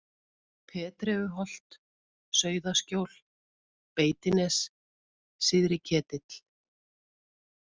Petreuholt, Sauðaskjól, Beitines, Syðri-Ketill